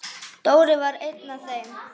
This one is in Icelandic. Dóri var einn af þeim.